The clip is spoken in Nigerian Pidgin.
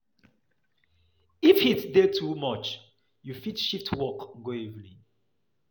If heat dey too much, you fit shit work go evening